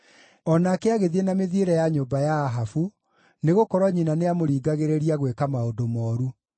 O nake agĩthiĩ na mĩthiĩre ya nyũmba ya Ahabu, nĩgũkorwo nyina nĩamũringagĩrĩria gwĩka maũndũ mooru.